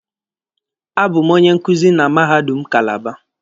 A bụ m onye nkuzi na mahadum Kalaba